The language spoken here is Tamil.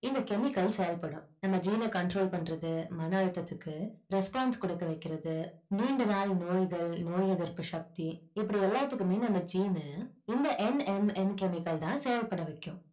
இந்த chemical செயல்படும் நம்ம gene அ control பண்ணறது மன அழுத்தத்துக்கு response குடுக்கவைக்குறதுக்கு நீண்ட நாள் நோய்கள் நோய் எதிர்ப்பு சக்தி இப்படி எல்லாத்துக்குமே நம்ம gene னு இந்த NMN chemical தான் செயல்பட வைக்கும்